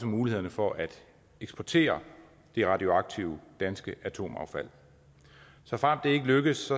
mulighederne for at eksportere det radioaktive danske atomaffald såfremt det ikke lykkes